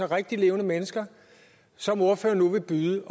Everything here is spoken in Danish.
rigtig levende mennesker som ordføreren nu vil byde